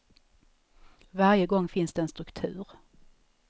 Varje gång finns det en struktur.